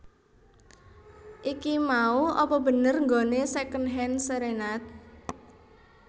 Iki mau apa bener nggone Secondhand Serenade?